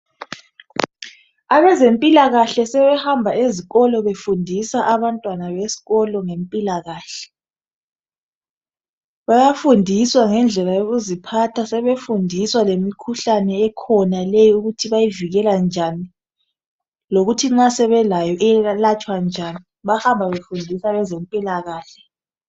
Abezempilakahle sebehamba befundisa abantwana ngempilakahle bayafundiswa ngendlela yokuziphatha sebefundiswa lemkhuhlane ekhona ukuthi bayivekela njani lokuthi nxa sebelayo bayilapha njani bahamba befundisa abezempilakahle